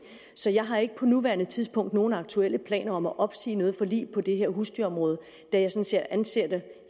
så jeg har ikke på nuværende tidspunkt nogen aktuelle planer om at opsige noget forlig på det her husdyrområde da jeg anser